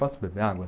Posso beber água?